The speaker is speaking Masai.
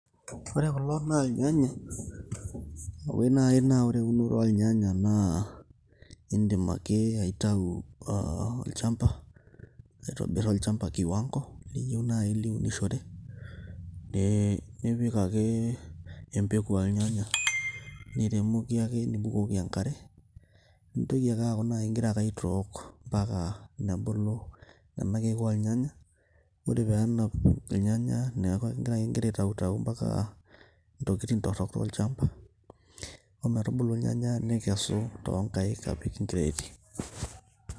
Ore kulo na irnyanya. Oi nai na ore eunoto ornyanya naa, idim ake aitau ah olchamba, aitobir olchamba kiwango, niyieu nai niunishore, eh nipik ake empeku ornyanya, niremoki ake nibukoki enkare. Nintoki ake aku nai igira ake aitook, mpaka nebulu nena keek ornyanya, ore penap irnyanya, neeku gira aitautau mpaka intokiting' torrok olchamba. Ometubulu irnyanya nikesu tonkaik, apik inkireeti.